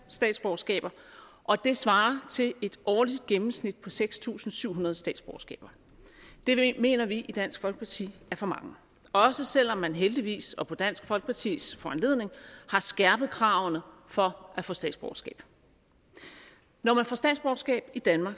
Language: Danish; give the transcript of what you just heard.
statsborgerskaber og det svarer til et årligt gennemsnit på seks tusind syv hundrede statsborgerskaber det mener vi i dansk folkeparti er for mange også selv om man heldigvis og på dansk folkepartis foranledning har skærpet kravene for at få statsborgerskab når man får statsborgerskab i danmark